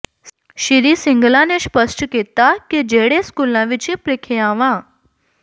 ਸ੍ਰੀ ਸਿੰਗਲਾ ਨੇ ਸਪੱਸ਼ਟ ਕੀਤਾ ਕਿ ਜਿਹੜੇ ਸਕੂਲਾਂ ਵਿੱਚ ਪ੍ਰੀਖਿਆਵਾਂ